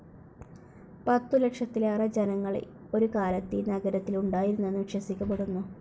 പത്തു ലക്ഷത്തിലേറെ ജനങ്ങൾ ഒരു കാലത്ത് ഈ നഗരത്തിൽ ഉണ്ടായിരുന്നെന്ന് വിശ്വസിക്കപ്പെടുന്നു.